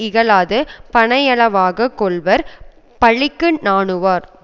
இகழாது பனையளவாக கொள்வர் பழிக்கு நாணுவார்